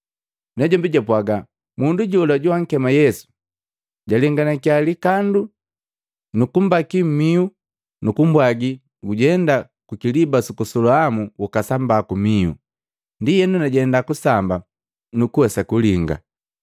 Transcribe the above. Najombi japwaga, “Mundu jola joankema Yesu jalenganakiya likandu, nukumbaki mmihu nukumbwagi gujenda kukiliba suku Soloamu ukasamba kumihu. Ndienu najenda kusamba, nukuwesa kulinga.”